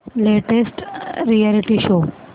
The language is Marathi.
latest reality show